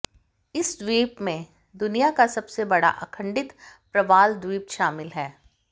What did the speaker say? इस द्वीप में दुनिया का सबसे बड़ा अखंडित प्रवालद्वीप शामिल है